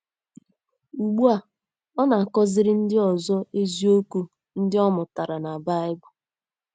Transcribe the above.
Ugbu a, ọ na - akọziri ndị ọzọ eziokwu ndị ọ mụtara na um Baịbụl.